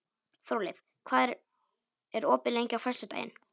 Þórleif, hvað er opið lengi á föstudaginn?